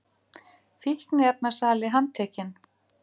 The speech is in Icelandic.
Fíkniefnasali handtekinn